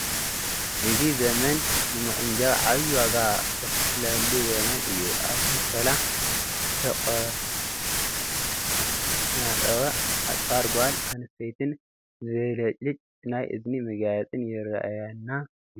እዚ ዘመን ንምቁንጃው ዓብዪ ዋጋ ዝኽፈለሉ ዘመን እዩ፡፡ ኣብቲ ምስሊ ዝተቖናፀወ ኣፅፋር ጓል ኣነስተይትን ዘብለጭልጭ ናይ እዝኒ መጋየፅን ይርአየና ኣሎ፡፡